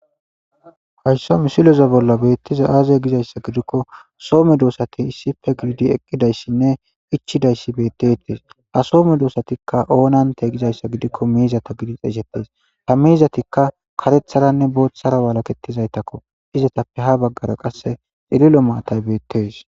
Hayssa misleza bolla beeththiza aazee giizeyssa gidikko so medoossathi issippe gididi eqqidayssenne ichchizaysse; ha so medossathikka oonantee giyyaba giikko:- ha meezathikka kareththathanne booththara wolakeththidazaytakko; izatappe ha baggaara qassi ililo maatay beeththees.